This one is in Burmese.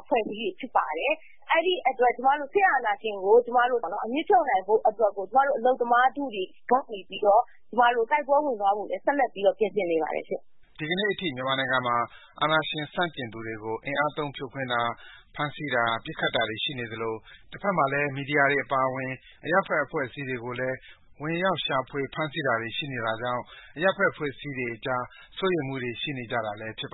အဖွဲ့အစည်းတွေ ဖြစ်ပါတယ်။ အဲဒီအတွက် ကျမတို့ ဆက်လက်ပြီးတော့လည်း စစ်အာဏာရှင်ကို အမြစ်ဖြုတ်နိုင်ဖို့အတွက် ဆက်လက်ပြီးတော့ ကျမတို့ အလုပ်သမားအဖွဲ့အစည်းတွေအနေနဲ့ ပြင်ဆင်နေပါတယ်။” ဒီကနေ့အထိ မြန်မာနိုင်ငံမှာ အာဏာရှင်ဆန့်ကျင်သူတွေကို အင်အား သုံးဖြိုခွင်းတာ၊ ဖမ်းဆီးတာ၊ ပစ်ခတ်တာတွေ ရှိနေသလို တစ်ဘက်မှာလည်း မီဒီယာတွေ အပါအဝင် အရပ်ဘက်အဖွဲ့အစည်းတွေကိုလည်း ဝင်ရှောက်ရှာဖွယ်ဖမ်းဆီးတာတွေ ရှိနေတာကြောင့် အရပ်ဘက်အဖွဲ့အစည်းတွေကြား စိုးရိမ်မှုတွေ ရှိနေကြတာလည်း ဖြစ်ပါ